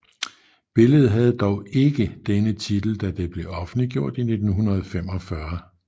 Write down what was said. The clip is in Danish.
Billedet havde dog ikke denne titel da det blev offentliggjort i 1945